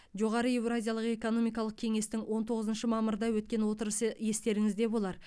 жоғары еуразиялық экономикалық кеңестің он тоғызыншы мамырда өткен отырысы естеріңізде болар